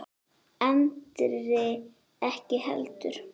Andri ekki heldur.